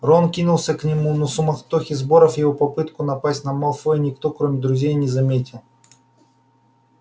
рон кинулся к нему но в суматохе сборов его попытку напасть на малфоя никто кроме друзей не заметил